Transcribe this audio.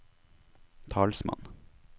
talsmann